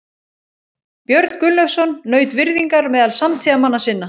Björn Gunnlaugsson naut virðingar meðal samtíðarmanna sinna.